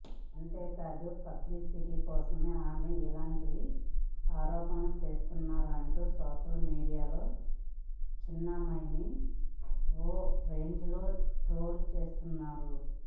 అంతేకాదు పబ్లిసిటీ కోసమే ఆమె ఇలాంటి ఆరోపణలు చేస్తున్నరంటూ సోషల్ మీడియాలో చిన్మయిని ఓ రేంజ్లో ట్రోల్ చేస్తున్నారు